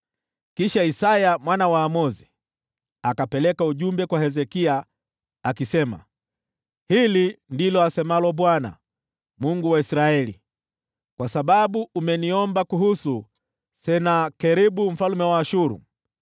Kisha Isaya mwana wa Amozi akapeleka ujumbe kwa Hezekia, akasema: “Hili ndilo asemalo Bwana , Mungu wa Israeli: Kwa sababu umeniomba kuhusu Senakeribu mfalme wa Ashuru,